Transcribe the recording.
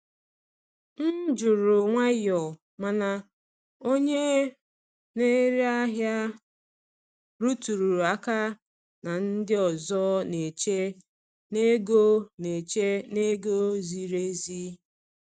M jụrụ nwayọọ, mana onye na-ere ahịa rụtụrụ aka na ndị ọzọ na-eche na ego na-eche na ego ziri ezi.